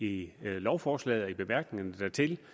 i lovforslaget og i bemærkningerne dertil